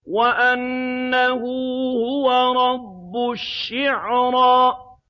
وَأَنَّهُ هُوَ رَبُّ الشِّعْرَىٰ